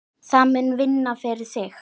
Það mun vinna fyrir þig.